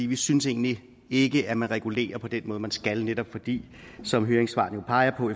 vi synes egentlig ikke at man regulerer på den måde man skal netop fordi som høringssvarene jo peger